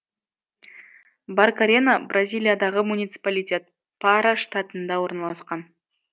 баркарена бразилиядағы муниципалитет пара штатында орналасқан